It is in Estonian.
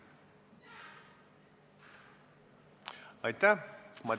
Aitäh!